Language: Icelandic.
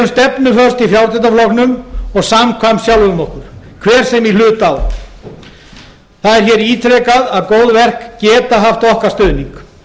í frjálslynda flokknum og samkvæm sjálfum okkur hver sem í hlut á það er hér ítrekað að góð verk geta haft okkar stuðning